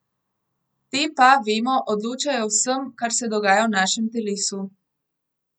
Te pa, vemo, odločajo o vsem, kar se dogaja v našem telesu.